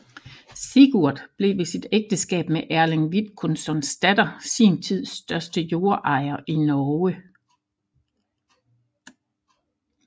Sigurd blev ved sit ægteskab med Erling Vidkunssons datter sin tids største jordejer i Norge